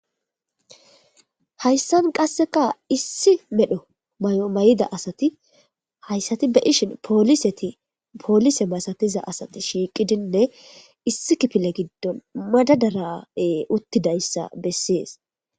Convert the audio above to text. hayssan qasseka issi medho may7o may7ida asati hayssati be ishin poolisetipoolise masatiza asati shiiqidinne issi kipile giddon madadarae uttidayssa bessees